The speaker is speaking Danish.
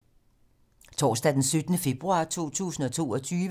Torsdag d. 17. februar 2022